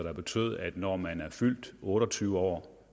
der betyder at når man er fyldt otte og tyve år